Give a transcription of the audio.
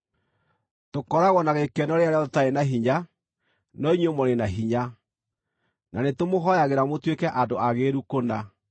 Tũkoragwo na gĩkeno rĩrĩa rĩothe tũtarĩ na hinya, no inyuĩ mũrĩ na hinya; na nĩtũmũhooyagĩra mũtuĩke andũ aagĩrĩru kũna.